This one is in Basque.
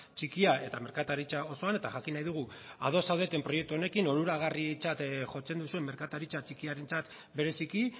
txikia eta merkataritza osoan eta jakin nahi dugu ados zaudeten proiektu honekin onuragarritzat jotzen duzuen merkataritza txikiarentzat bereziki